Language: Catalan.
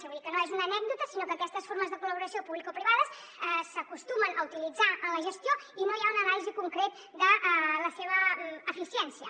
vull dir que no és una anècdota sinó que aquestes formes de col·laboració publicoprivades s’acostumen a utilitzar en la gestió i no hi ha una anàlisi concreta de la seva eficiència